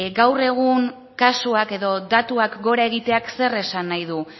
gaur egun kasuak edo datuak gora egiteak zer esan nahi du